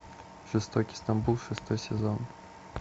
жестокий стамбул шестой сезон